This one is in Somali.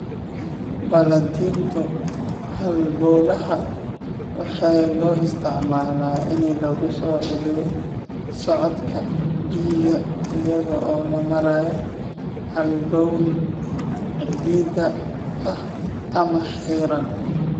Baladhinta halbowlaha waxaa loo isticmaalaa in lagu soo celiyo socodka dhiigga iyada oo loo marayo halbowle cidhiidhi ah ama xiran.